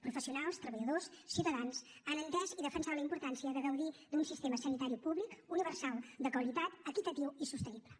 professio nals treballadors ciutadans han entès i defensat la importància de gaudir d’un sistema sanitari públic universal de qualitat equitatiu i sostenible